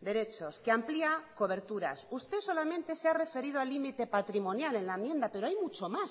derechos que amplia coberturas usted solamente se ha referido al límite patrimonial en la enmienda pero hay mucho más